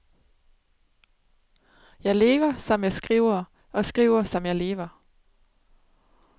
Jeg lever, som jeg skriver, og skriver, som jeg lever.